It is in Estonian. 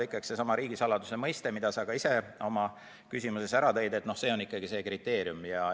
Ikkagi seesama riigisaladus, mida sa ka ise oma küsimuses nimetasid, on see kriteerium.